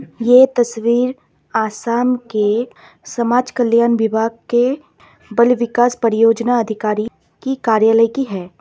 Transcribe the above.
ये तस्वीर आसाम के समाज कल्याण विभाग के बाल विकास परियोजना अधिकारी की कार्यालय की है।